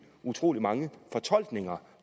utrolig mange fortolkninger